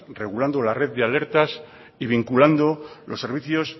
regulando la red de alertas y vinculando los servicios